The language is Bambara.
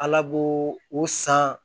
Ala b'o o san